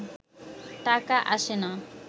টাকা আসে না